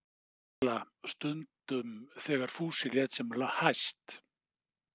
Margrét gamla stundum þegar Fúsi lét sem hæst.